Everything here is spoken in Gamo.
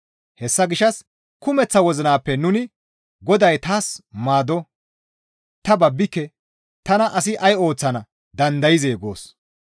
Hessa gishshas kumeththa wozinappe nuni, «Goday taas maado; ta babbike; tana asi ay ooththana dandayzee?» goos.